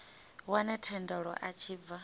wane thendelo a tshi bva